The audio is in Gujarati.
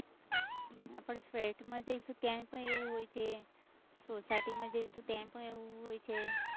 આપણે flat માં જઈશું ત્યાં પણ એવું હોય છે, society માં જઈશું ત્યાં પણ એવું હોય છે.